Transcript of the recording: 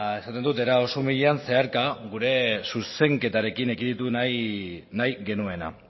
esaten dut era oso umilean zeharka gure zuzenketarekin ekiditu nahi genuena